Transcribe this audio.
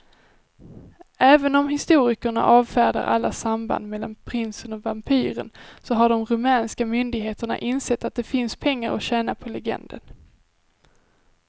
Även om historikerna avfärdar alla samband mellan prinsen och vampyren så har de rumänska myndigheterna insett att det finns pengar att tjäna på legenden.